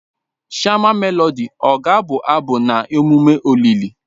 Shama Melodị ọ ga-abụ abụ na emume olili?